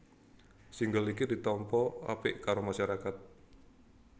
Single iki ditampa apik karo masyarakat